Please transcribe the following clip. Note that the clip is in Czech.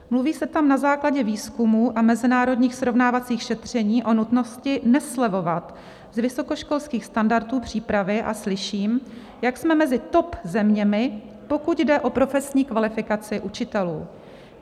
Mluví se tam na základě výzkumů a mezinárodních srovnávacích šetřeních o nutnosti neslevovat z vysokoškolských standardů přípravy a slyším, jak jsme mezi top zeměmi, pokud jde o profesní kvalifikaci učitelů.